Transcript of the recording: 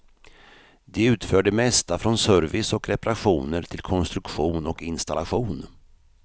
De utför det mesta från service och reparationer till konstruktion och installation.